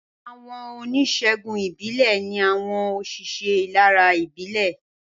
Àwọn onísègùn ìbílẹ̀ ní àwọn òṣìṣẹ́ ìlera ìbílẹ̀